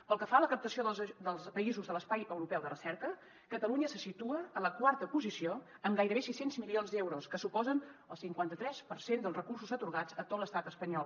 pel que fa a la captació dels països de l’espai europeu de recerca catalunya se situa en la quarta posició amb gairebé sis cents milions d’euros que suposen el cinquanta tres per cent dels recursos atorgats a tot l’estat espanyol